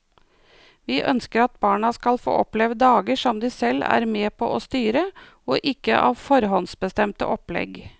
Vi ønsker at barna skal få oppleve dager som de selv er med på styre og ikke av forhåndsbestemte opplegg.